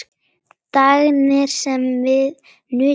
Þagnir sem við nutum saman.